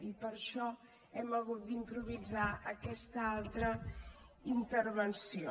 i per això hem hagut d’improvisar aquesta altra intervenció